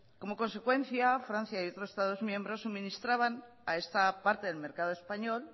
como consecuencia francia y otros estados miembros suministraban a esta parte del mercado español